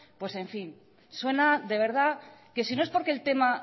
pues en fin suena de verdad que si no es porque el tema